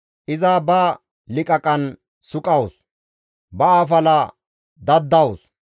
Iza ba liqaqan suqawus, ba afala daddawus.